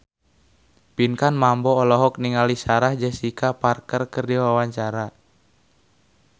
Pinkan Mambo olohok ningali Sarah Jessica Parker keur diwawancara